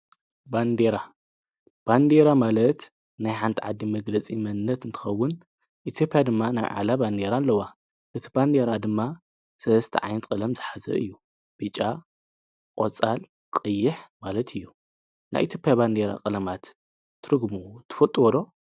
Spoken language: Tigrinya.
ባንዴራ ባንዴራ ማለት ናይ ሓንቲ ዓዲ መግለፂ መንነት እንትኸውን ኢትዮጵያ ድማ ናይ ባዕላ ባንዴራ ኣለዋ። እቲ ባንዴራ ድማ ሰለስተ ዓይነት ቀለም ዝሓዘ እዩ። ብጫ ፣ቆፃል ፣ቀይሕ ማለት እዩ ። ናይ ኢትዮጵያ ባንዴራ ቀለማት ትርጉሙ ትፈልጥዎዶ?